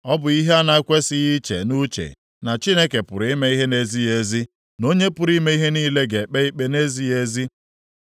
Ọ bụ ihe a na-ekwesighị iche nʼuche na Chineke pụrụ ime ihe na-ezighị ezi, na Onye pụrụ ime ihe niile ga-ekpe ikpe nʼezighị ezi.